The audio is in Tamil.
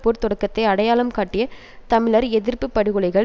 போர் தொடக்கத்தை அடையாளம் காட்டிய தமிழர் எதிர்ப்பு படுகொலைகள்